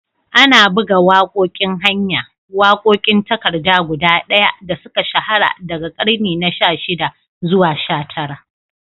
Ana buga waƙoƙin hanya, waƙoƙin takarda guda ɗaya da suka shahara daga ƙarni na 16 zuwa 19.